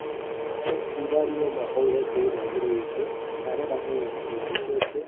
આ એક દિવાળીનો માહોલ હોઈ તેવુ લાગી રહ્યુ છે ચારે બાજુ લાઈટો છે.